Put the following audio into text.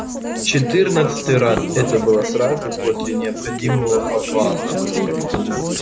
в четырнадцатый раз это было сразу после необходимого обвала